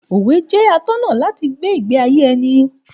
Òwe jẹ́ atọ́nà láti gbé ìgbé ayé ẹni.